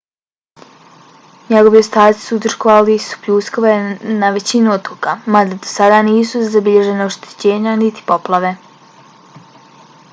njegovi ostaci uzrokovali su pljuskove na većini otoka mada do sada nisu zabilježena oštećenja niti poplave